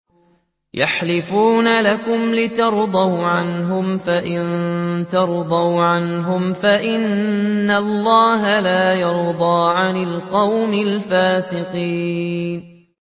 يَحْلِفُونَ لَكُمْ لِتَرْضَوْا عَنْهُمْ ۖ فَإِن تَرْضَوْا عَنْهُمْ فَإِنَّ اللَّهَ لَا يَرْضَىٰ عَنِ الْقَوْمِ الْفَاسِقِينَ